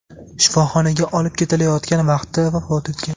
shifoxonaga olib ketilayotgan vaqtida vafot etgan.